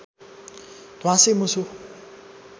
ध्वाँसे मुसो